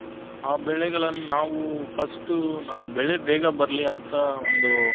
ಆ ಬೆಳ್ಳೆಗಳ್ಳನು ನಾವು first ನಾವು ಬೆಳ್ಳೆ ಬೇಗ ಬರಲಿ ಅಂತ ಒಂದು ಯಾವುದೋ ಒಂದು ಗೊಬ್ಬರ use ಮಾಡ್ತಿವಿ.